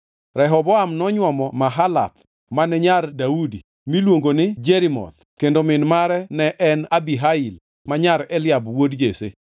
Rehoboam nonywomo Mahalath mane nyar wuod Daudi miluongo ni Jerimoth kendo min mare ne en Abihail ma nyar Eliab wuod Jesse.